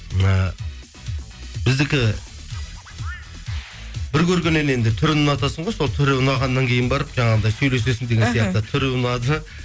ыыы біздікі бір көргеннен енді түрін ұнатасың ғой сол түрі ұнағаннан кейін барып жаңағындай сөйлесесің деген сияқты түрі ұнады